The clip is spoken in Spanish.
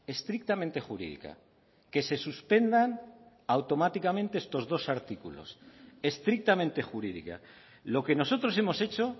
estrictamente jurídica que se suspendan automáticamente estos dos artículos estrictamente jurídica lo que nosotros hemos hecho